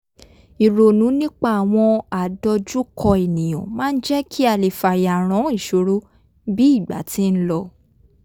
ìronú nípa àwọn àdọjúkọ ènìyàn máa ń jẹ́ kí a lè fayàrán ìṣòro bí ìgbà ti ń lọ